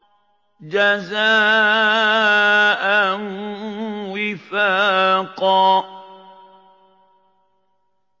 جَزَاءً وِفَاقًا